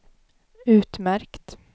utmärkt